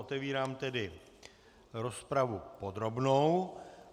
Otevírám tedy rozpravu podrobnou.